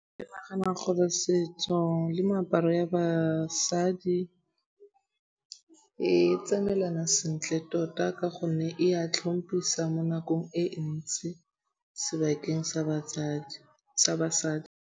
Ke nagana gore setso le meaparo ya basadi e tsamaelanang sentle tota ka gonne e a tlhompisa mo nakong e ntsi sebakeng sa basadi.